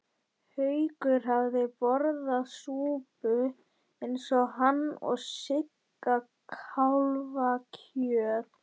Haukur hafði borðað súpu eins og hann og Sigga kálfakjöt.